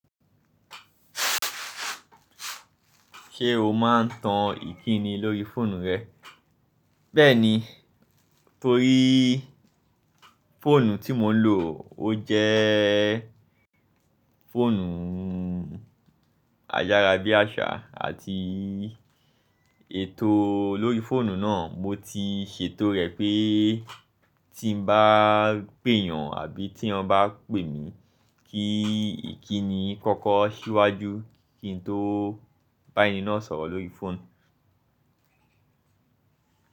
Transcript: Ṣé o máa ń tan ìkíni lórí fóònù rẹ? Bẹ́ẹ̀ni, torí fóònù tí mò ń lò ó jẹ́ fóònù ayárá bí àṣá àti ètò lórí fóònù náà mo ti ṣètò rẹ̀ pé tí n bá pèèyàn àbí tí èèyàn bá pè mí kí ìkíni kọ́kọ́ ṣíwájú kí n tó bá ẹni náà sọ̀rọ̀ lórí fóònù.